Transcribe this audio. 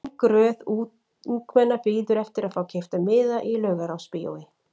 Löng röð ungmenna bíður eftir að fá keypta miða í Laugarásbíói.